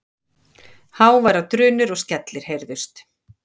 Háværar drunur og skellir heyrðust.